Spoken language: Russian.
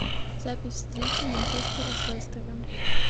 запись встречи манчестера с лестером